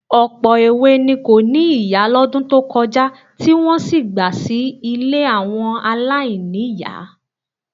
Ọ̀pọ̀ èwe ni kò ní ìyá lọ́dún tó kọjá tí wọ́n sì gba sí ilé àwọn aláìní-ìyá. ,=